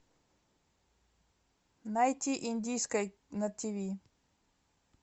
найти индийское на тиви